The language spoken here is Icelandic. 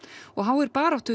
og háir baráttu